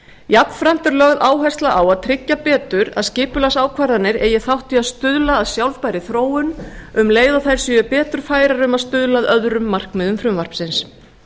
jafnframt er lögð áhersla á að tryggja betur að skipulagsákvarðanir eigi þátt í að stuðla að sjálfbærri þróun um leið og þær séu betur færar um að stuðla að öðrum markmiðum frumvarpsins